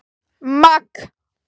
Magg